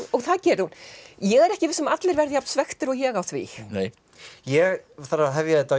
og það gerir hún ég er ekki viss um að allir verði jafn svekktir og ég á því ég þarf að hefja þetta á